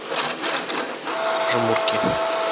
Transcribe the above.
жмурки